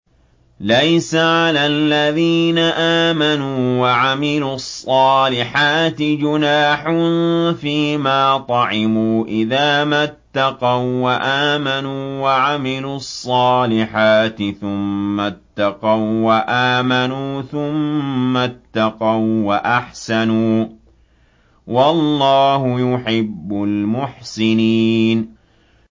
لَيْسَ عَلَى الَّذِينَ آمَنُوا وَعَمِلُوا الصَّالِحَاتِ جُنَاحٌ فِيمَا طَعِمُوا إِذَا مَا اتَّقَوا وَّآمَنُوا وَعَمِلُوا الصَّالِحَاتِ ثُمَّ اتَّقَوا وَّآمَنُوا ثُمَّ اتَّقَوا وَّأَحْسَنُوا ۗ وَاللَّهُ يُحِبُّ الْمُحْسِنِينَ